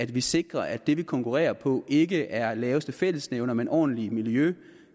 vi sikrer at det vi konkurrerer på ikke er laveste fællesnævner men ordentligt miljø